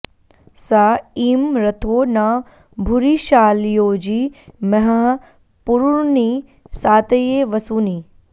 स ईं॒ रथो॒ न भु॑रि॒षाळ॑योजि म॒हः पु॒रूणि॑ सा॒तये॒ वसू॑नि